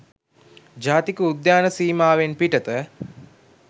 ජාතික උද්‍යාන සීමාවෙන් පිටත